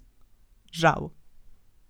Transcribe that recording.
Žal.